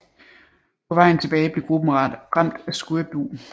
På vejen tilbage blev gruppen ramt af skørbug